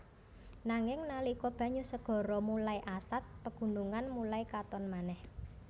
Nanging nalika banyu segara mulai asad pegunungan mulai katon manèh